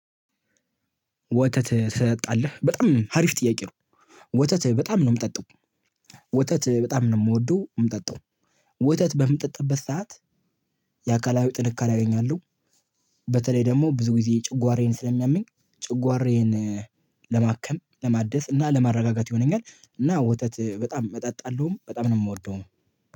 ወተት ትጠጣለህ በጣም ሀሪፍ ጥያቄ ነው? ወተት በጣም ነው የምጠጣው። ወተት በጣም ነው የምወደው የምጠጣው። ወተት በምጠጣበት ሰዓት። የአካላዊ ጥንካሬ አገኛለሁ። በተለይ ደግሞ ብዙ ጊዜ ጨጓራዬን ስለሚያመኝ ጨጓራዬን። ለማከም ለማደስ እና ለማረጋጋት ይሆነኛል እና ወተት በጣም እጠጣለሁም በጣም ነው የምወደው።